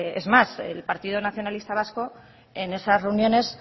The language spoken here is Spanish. es más el partido nacionalista vasco en esas reuniones